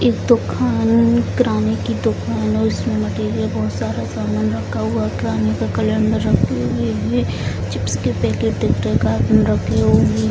एक दुकान किराने की दुकान है उसमें मटेरियल बहुत सारा सामन रखा हुआ के कलर में चिप्स के पैकेट --